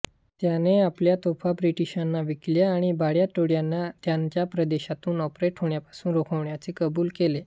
त्याने आपल्या तोफा ब्रिटीशांना विकल्या आणि भांड्या टोळ्यांना त्याच्या प्रदेशातून ऑपरेट होण्यापासून रोखण्याचे कबूल केले